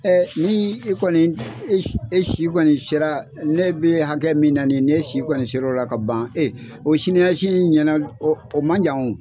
ni e kɔni e si e si kɔni sera ne bɛ hakɛ min na nin n'e si kɔni sera o la ka ban o sini ɲɛsigi ɲɛna o o man jan o.